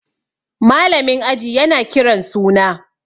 malamin aji yana Kiran suna